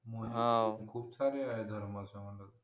खूप सारे ये धर्म असं मला वाटतं